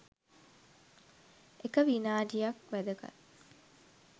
එක විනාඩියක් වැදගත්.